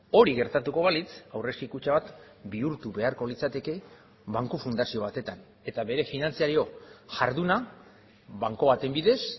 hori gertatuko balitz aurrezki kutxa bat bihurtu beharko litzateke banku fundazio batetan eta bere finantzario jarduna banku baten bidez